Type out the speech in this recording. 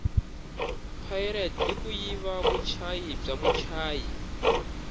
pirate ikuyiva vutshayi bwamutshayi